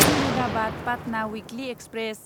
Ahmedabad Patna weekly express